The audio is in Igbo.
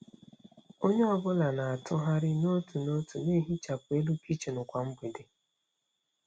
Onye ọ bụla na-atụgharị n'otu n'otu na-ehichapụ elu kichin kwa mgbede.